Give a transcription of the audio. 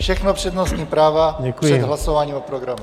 Všechno přednostní práva před hlasováním o programu.